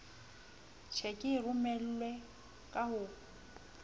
tjheke e romelwang ka ho